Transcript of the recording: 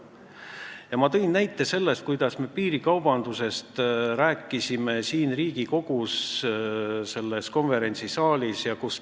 Ja ma tõin ka näite, kuidas me siin Riigikogu konverentsisaalis piirikaubandusest rääkisime.